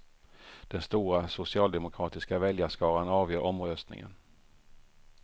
Den stora socialdemokratiska väljarskaran avgör omröstningen.